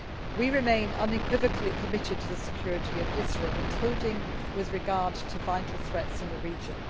talks. We remain unequivocally committed to the security of Israel, including with regard to vital threats in the region.